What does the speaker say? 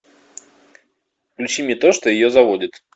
включи мне то что ее заводит